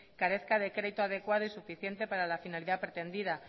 carezca de crédito adecuado y suficiente para la finalidad pretendida